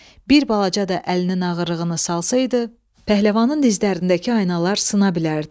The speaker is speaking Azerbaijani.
Bir balaca da əlinin ağırlığını salsaydı, pəhləvanın dizlərindəki aynalar sına bilərdi.